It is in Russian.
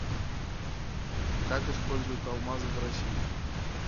как используют алмазы в россии